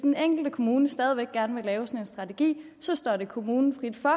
den enkelte kommune stadig væk gerne vil have sådan en strategi står det kommunen frit for